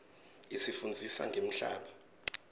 isifundzisa ngemhlaba